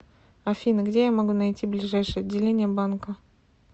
афина где я могу найти ближайшее отделение банка